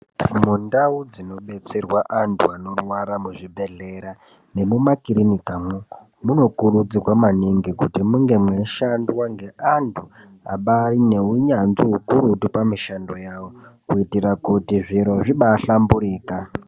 Mundau dzino detserwa antu anorwara mu zvibhedhlera ne muma kirinika mo muno kurudzirwa maningi kuti munge mei shandwa nge antu abairi ne unyanzvi ukurutu pa mishando yawo kuitira kuti zviro zvibai hlamburika.